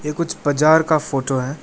ये कुछ बाजार का फोटो है।